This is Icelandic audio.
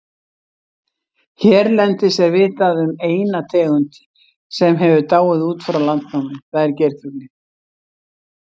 Hérlendis er vitað um eina tegund sem hefur dáið út frá landnámi, það er geirfuglinn.